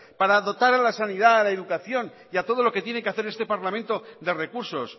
para dotar a la sanidad la educación y a todo lo que tiene que hacer este parlamento de recursos